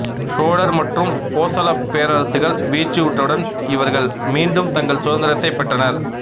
சோழர் மற்றும் போசள பேர்ரசுகள் வீழ்ச்சியுற்றவுடன் இவர்கள் மீண்டும் தங்கள் சுதந்திரத்தைப் பெற்றனர்